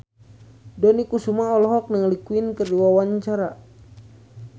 Dony Kesuma olohok ningali Queen keur diwawancara